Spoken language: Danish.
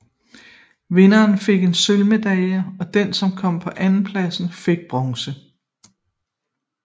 Vinderen fik en sølvmedalje og den som kom på en andenplads fik bronze